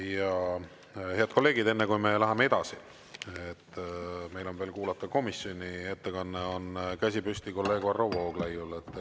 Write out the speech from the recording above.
Ja, head kolleegid, enne kui me läheme edasi, meil on veel kuulata komisjoni ettekanne, on käsi püsti kolleeg Varro Vooglaiul.